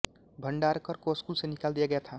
भंडारकर को स्कूल से निकाल दिया गया था